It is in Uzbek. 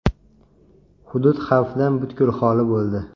Hudud xavfdan butkul xoli bo‘ldi.